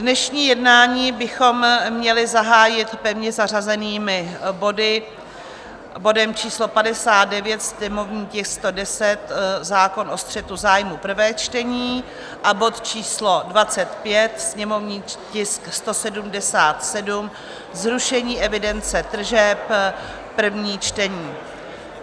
Dnešní jednání bychom měli zahájit pevně zařazenými body, bodem číslo 59, sněmovní tisk 110 - zákon o střetu zájmů, prvé čtení, a bod číslo 25, sněmovní tisk 177 - zrušení evidence tržeb, první čtení.